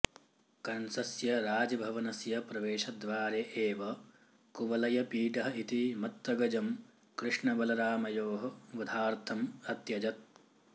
कंसस्य राजभवनस्य प्रवेशद्वारे एव कुवलयपीडः इति मत्तगजं कृष्णबलरामयोः वधार्थम् अत्यजत्